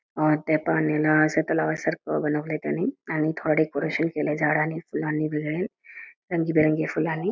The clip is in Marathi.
त्या पाण्याला असं तलावासारखं बनवलाय त्यांनी आणि थोडं डेकोरेशन केलंय झाडांनी आणि फुलांनी वगैरे रंगीबेरंगी फुलांनी--